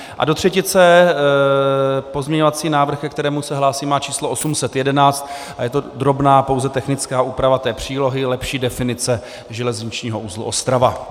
A do třetice pozměňovací návrh, ke kterému se hlásím, má číslo 811 a je to drobná pouze technická úprava té přílohy, lepší definice železničního uzlu Ostrava.